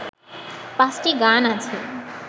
পাঁচটি গান আছে